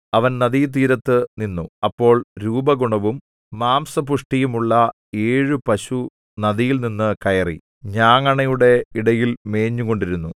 അവൻ നദീതീരത്തു നിന്നു അപ്പോൾ രൂപഗുണവും മാംസപുഷ്ടിയുമുള്ള ഏഴു പശു നദിയിൽനിന്നു കയറി ഞാങ്ങണയുടെ ഇടയിൽ മേഞ്ഞുകൊണ്ടിരുന്നു